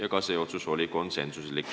Aitäh!